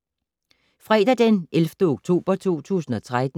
Fredag d. 11. oktober 2013